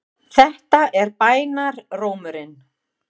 Þetta er bænarrómurinn.